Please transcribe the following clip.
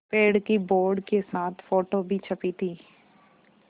पेड़ की बोर्ड के साथ फ़ोटो भी छपी थी